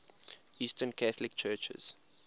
eastern catholic churches